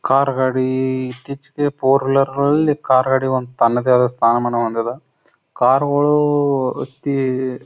ಕಾರ್ಗಾ ಡೀ ಇತ್ತೀಚೆಗೆ four wheeler ನಲ್ಲಿ ಕಾರ್ ಗಾಡಿತನದ್ದೇ ಅದ ಒಂದು ಸ್ಥಾನಮಾನ ಹೊಂದಿದ್ದೆ ಕಾರ್ಗುಳೂ ತೀ --